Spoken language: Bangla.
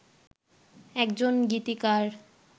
একজন গীতিকার